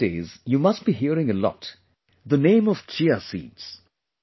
nowadays you must be hearing a lot, the name of Chia seeds